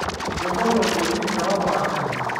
Kebolo oldirisha opaashari.